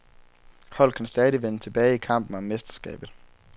Holdet kan stadig vende tilbage i kampen om mesterskabet.